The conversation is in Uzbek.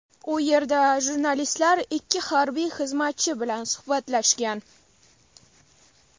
U yerda jurnalistlar ikki harbiy xizmatchi bilan suhbatlashgan.